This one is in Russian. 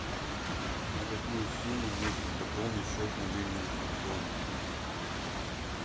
на какую сумму нужно пополнить счет мобильного телефона